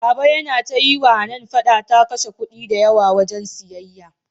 baba Yana ta yiwa Hanan fada ta kashe kudi da yawa wajan siyayya